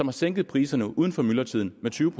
har sænket priserne uden for myldretiden med tyve